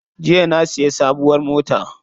Jiya na siya sabuwar mota.